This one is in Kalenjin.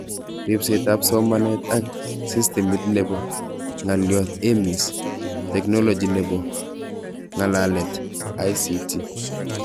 Ribset ab somanet ak sistimit nebo ng'alyot EMIS , teknoloji nebo nga'lalet ICT.